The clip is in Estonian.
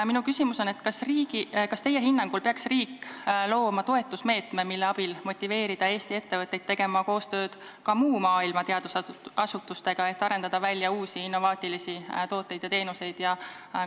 Minu küsimus aga on selline: kas teie hinnangul peaks riik looma toetusmeetme, mille abil motiveerida Eesti ettevõtteid tegema koostööd ka muu maailma teadusasutustega, et arendada välja uusi innovaatilisi tooteid ja teenuseid?